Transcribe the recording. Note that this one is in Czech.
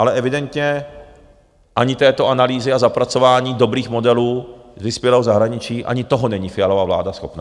Ale evidentně ani této analýzy a zapracování dobrých modelů z vyspělého zahraničí, ani toho není Fialova vláda schopná.